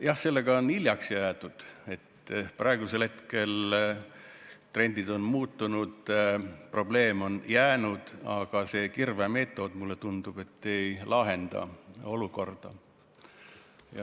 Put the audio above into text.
Jah, sellega on hiljaks jäädud, trendid on muutunud, probleem on jäänud, aga see kirvemeetod, mulle tundub, ei lahenda olukorda.